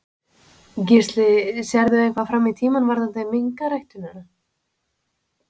Gísli: Sérðu eitthvað fram í tímann varðandi minkaræktina?